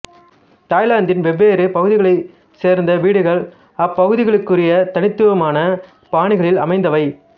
தாய்லாந்தின் வெவ்வேறு பகுதிகளைச் சேர்ந்த வீடுகள் அவ்வப்பகுதிகளுக்குரிய தனித்துவமான பாணிகளில் அமைந்தவை